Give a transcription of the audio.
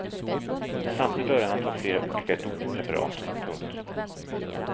Samtidigt började han ta flera olika dopingpreparat. punkt